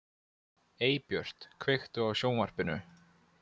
Eybjört, kveiktu á sjónvarpinu.